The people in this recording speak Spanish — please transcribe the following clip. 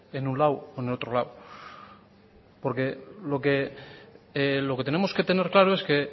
en un lado o en otro lado porque lo que tenemos que tener claro es que